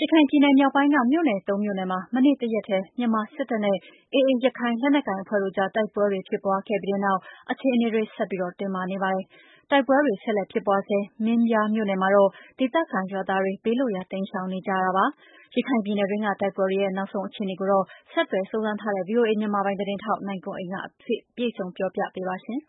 ရခိုင်ပြည်နယ် မြောက်ပိုင်းက မြို့နယ် သုံး မြို့နယ်မှာ မနေ့ကတရက်ထဲ မြန်မာစစ်တပ်နဲ့ AA ရခိုင်လက်နက်ကိုင် အဖွဲ့ တို့ကြား တိုက်ပွဲတွေ ဖြစ်ပွားခဲ့ပြီးနောက် အခြေအနေ ဆက်လက် တင်းမာနေပါတယ်။ တိုက်ပွဲတွေ ဆက်လက် ဖြစ် ပွားဆဲ မင်းပြားမြို့နယ်မှာတော့ ဒေသခံရွာသားတွေ ဘေးလွတ်ရာ တိမ်းရှောင်နေကြရတာပါ။ ရခိုင်ပြည်နယ်တွင်းက တိုက်ပွဲတွေ နောက်ဆုံး အခြေအနေကိုတော့ ဆက်သွယ်စုံစမ်းထားတဲ့ ဗွီအိုအေမြန်မာပိုင်း သတင်းထောက် နိုင်ကွန်းအိန်က အပြည့်အစုံ ပြောပြပေးမှာ ဖြစ်ပါတယ်။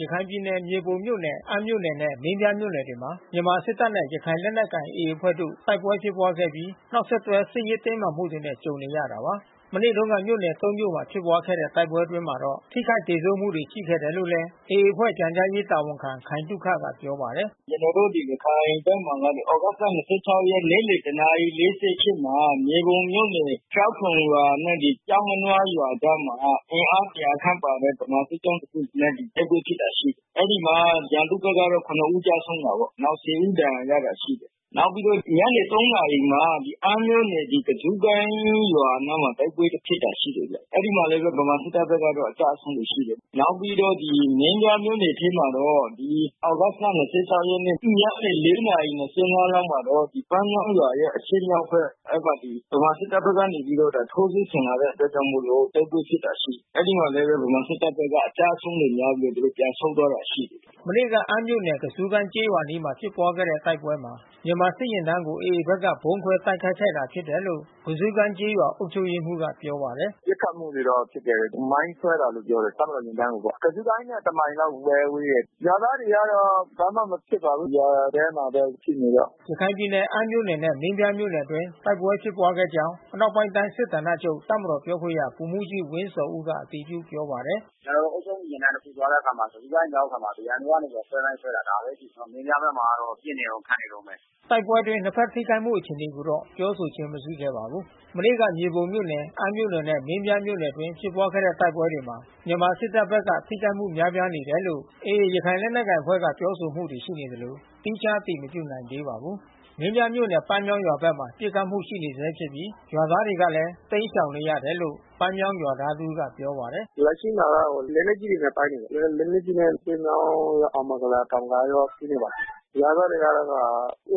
ရခိုင်ပြည်နယ် မြေပုံမြို့နယ်၊ အမ်းမြို့နယ်နဲ့ မင်းပြားမြို့နယ်တွေမှာ မြန်မာစစ်တပ်နဲ့ ရခိုင်လက်နက်ကိုင် AA အဖွဲ့တို့ တိုက်ပွဲဖြစ်ပွားခဲ့ပြီး နောက်ဆက်တွဲ စစ်ရေးတင်းမာမှုတွေနဲ့ ကြုံနေရတာပါ။ မနေ့တုန်းက မြို့နယ် ၃ မြို့မှာ ဖြစ်ခဲ့တဲ့ တိုက်ပွဲအတွင်းမှာတော့ ထိခိုက်သေဆုံးမှုတွေ ရှိခဲ့တယ်လို့လည်း AA အဖွဲ့ ပြန်ကြားရေးတာဝန်ခံ ခိုင်သုခက ပြောပါတယ်။ “ကျနော်တို့ ရခိုင်ဘက် သြဂုတ်လ ၂၆ ရက် နေ့လည် တနာရီ ၄၈ မှာ မြေပုံမြို့နယ်ကျောက်ခုံရွာနဲ့ ကျောက်ငနွား ရွာအကြားမှာ အင်အား ၁၀၀ လောက်ပါတဲ့ ဗမာစစ်ကြောင်းတခုနဲ့ တိုက်ပွဲဖြစ်တာ ရှိတယ်။ အဲဒီမှာ ရန်သူဘက်က ၇ဦးကျဆုံးတာပေါ့။ နောက် ၁၀ ဦး ဒဏ်ရာရတာ ရှိတယ်။ နောက်ပြီးတော့ ညနေ ၃ နာရီမှာ အမ်းမြို့နယ်ကဇူးကိုင်းရွာ အနားမှာ တိုက်ပွဲဖြစ်တာ ရှိတယ်ဗျ။ အဲဒီမှာလည်းပဲ ဗမာစစ်တပ်ဘက်က အကျဆုံးတွေ ရှိတယ်ဗျ။ နောက်ပြီးတော့ မင်းပြား မြို့နယ်ထဲမှာတော့ သြဂုတ်လ ၂၆ ရက် ညနေ ၄ နာရီ ၂၅ လောက်မှာတော့ ပန်းမြောင်းရွာရဲ့အရှေ့မြောက်ဘက် အဲဒီမှာ ဗမာစစ်တပ်ဘက်က ထိုးစစ်ဆင်လာတဲ့ အတွက်ကြောင့်မို့လို့ တိုက်ပွဲဖြစ်တာ ရှိတယ်။ အဲဒီမှာလည်းပဲ ဗမာစစ်တပ်ဘက်က အကျဆုံးတွေများပြီးတော့ သူတို့ပြန်ဆုတ်သွားတာ ရှိတယ်။” မနေ့ကအမ်းမြို့နယ် ကဇူးကိုင်းကျေးရွာအနီးဖြစ်တဲ့ တိုက်ပွဲမှာ မြန်မာစစ်ယာဉ်တန်းကို AA ဘက်က ဗုံးခွဲတိုက်ခိုက်တာ ဖြစ်တယ်လို့ ကဇူးကိုင်းကျေးရွာ အုပ်ချုပ်ရေးမှူးကပြောပါတယ်။ “ပစ်ခတ်မှုတွေတော့ဖြစ်တယ်။ မိုင်းခွဲတယ်လို့ပြောတယ်။ တပ်မတော်ယာဉ်တန်းကိုပေါ့။ ကဇူးကိုင်းနဲ့ တမိုင်လောက်ပဲ ဝေးတယ်။ ရွာသားတွေကတော့ ဘာမှမဖြစ်ပါဘူး။ ရွာထဲမှာပဲရှိနေတော့။” ရခိုင်ပြည်နယ် အမ်းမြို့နယ်နဲ့ မင်းပြားမြို့နယ်အတွင်း တိုက်ပွဲဖြစ်ပွားခဲ့ကြောင်း အနောက်ပိုင်းတိုင်းစစ်ဌာနချုပ် တပ်မတော်ပြောခွင့်ရ ဗိုလ်မှူးကြီးဝင်းဇော်ဦးက အတည်ပြုပြောပါတယ်။ “ကျနော်တို့ အုပ်ချုပ်မှု ယာဉ်တန်း တခုသွားတဲ့အခါမှာ ကဇူးကိုင်းရောက်တဲ့အခါမှာ ရန်သူကနေပြီးတော့ ဆွဲမိုင်းဆွဲ တယ်။ ဒါပဲရှိတယ်။ မင်းပြားဘက်မှာတော့ ပစ်နေတုန်း၊ ခတ်နေတုန်းပဲ။” တိုက်ပွဲအတွင်း နှစ်ဘက် ထိခိုက်မှုအခြေအနေကိုတော့ ပြောဆိုခြင်း မရှိခဲ့ပါဘူး။ မနေ့က မြေပုံမြို့နယ် အမ်းမြို့နယ်နဲ့ မင်းပြားမြို့နယ်အတွင်းဖြစ်ပွားတဲ့ တိုက်ပွဲမှာ မြန်မာစစ်တပ်ဘက်က ထိခိုက်မှု များပြားတယ်လို့ AA ရခိုင်လက်နက်ကိုင်အဖွဲ့က ပြောဆိုမှု ရှိနေသလို သီးခြား အတည်မပြုနိုင်သေးပါဘူး။ မင်းပြားမြို့နယ် ပန်းမြောင်းရွာဘက်မှာ ပစ်ခတ်မှု ရှိနေဆဲဖြစ်ပြီး ရွာသားတွေလည်း တိမ်းရှောင်နေရတယ်လို့ ပန်းမြောင်း ရွာသား တဦးကပြောပါတယ်။ “လက်ရှိမှာကတော့ လက်နက်ကြီးတွေနဲ့ တိုက်နေတယ်။ လက်နက်ကြီးနဲ့ ပန်းမြောင်းက အောင်မင်္ဂလာတောင်မှာရော ပစ်နေတာ။ ရွာသားတွေကတော့ ကိုယ့်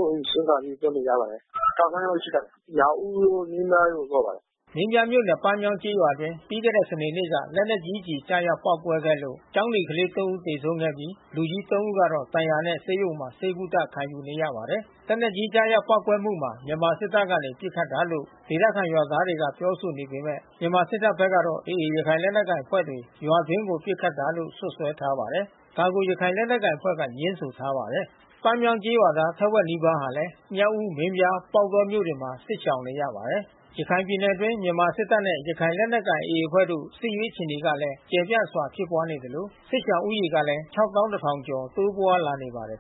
အိမ်စွန့်ခွါပြီးထွက်နေရပါတယ်။ ထောင်ဂဏန်းလောက်ရှိပါတယ်။ မြောက်ဦး တို့ မင်းပြားဘက်ကိုသွားပါတယ်။ မင်းပြားမြို့နယ် ပန်းမြောင်းကျေးရွာအတွင်းမှာ ပြီးခဲ့တဲ့စနေနေ့က လက်နက်ကြီးကျည် ကျရောက်ပေါက်ကွဲခဲ့လို့ ကျောင်းနေကလေး သုံး ဦးသေဆုံးခဲ့ပြီး လူကြီး သုံး ဦးကတော့ ဒဏ်ရာနဲ့ဆေးရုံမှာ ဆေးကုသမှု ခံယူနေရပါတယ်။ လက်နက်ကြီးကျရောက် ပေါက်ကွဲမှုဟာ မြန်မာစစ်တပ်ကနေ ပစ်ခတ်တာလို့ ဒေသခံရွာသားတွေက ပြောဆိုနေပေမဲ့ မြန်မာစစ်တပ်ဘက်ကတော့ AA ရခိုင်လက်နက်ကိုင်အဖွဲ့တွေ ရွာတွင်းကိုပစ်ခတ်တာလို့ စွပ်စွဲထားပါတယ်။ ဒါကို ရခိုင်လက်နက်ကိုင်အဖွဲ့က ငြင်းဆိုထားပါတယ်။ ပန်းမြောင်းကျေးရွာသား ထက်ဝက်နီးပါးကလည်း မြောက်ဦး၊ မင်းပြား၊ ပေါက်တောမြို့တွေမှာ စစ်ရှောင်နေရပါတယ်။ ရခိုင်ပြည်နယ်အတွင်း မြန်မာစစ်တပ်နဲ့ ရခိုင်လက်နက်ကိုင် AA အဖွဲ့တို့ စစ်ရေးအခြေအနေကလည်း ကျယ်ပြန့်စွာ ဖြစ်ပွားနေသလို စစ်ရှောင်ဦးရေကလည်း ၆၁,၀၀၀ ကျော် တိုးပွားလာနေပါတယ်